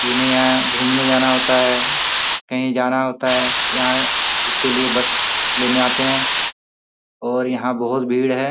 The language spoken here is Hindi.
जिन्हे यहाँ घूमने जाना होता है। कहीं जाना होता है। यहाँ उसके लिए बस लेने आते है और यहाँ बहोत भीड़ है।